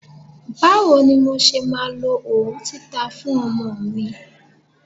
Bá wo ni mo ṣe máa lo òwú títa fún ọmọ mi?